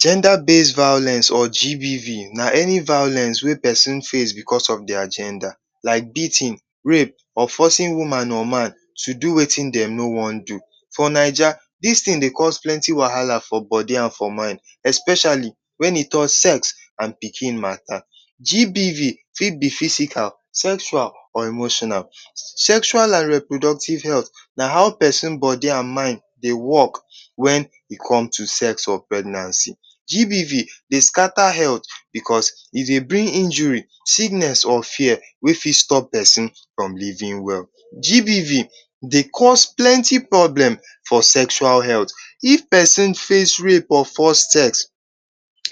Genda base violence or GBV na any violence wey pesin face because of dia genda like beatin, rape or forcing woman or man to do wetin dem no wan do. For Naija dis tin dey cause plenty wahala for bodi and for mine especiali wen e talk sex and pikin mata. GBV fit be physical sexual or emotional. Sexual and reproductive health na how pesin bodi and mind dey work wen e come to sex or pregnancy. GBV dey skata helt because e dey bring injury, sickness or fear wey fit stop pesin from livin well. GBV dey cause plenty problem for sexual health. If pesin face rape or force sex,